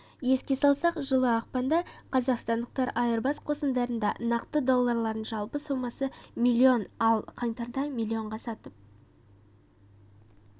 еске салсақ жылы ақпанда қазақстандықтар айырбас қосындарында нақты долларларын жалпы сомасы млн ал қаңтарда млн-ға сатып